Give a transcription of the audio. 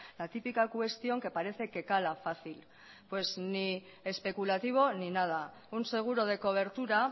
la típica cuestión que parece que cala fácil pues ni especulativo ni nada un seguro de cobertura